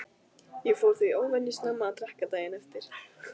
Ég fór því óvenju snemma að drekka daginn eftir.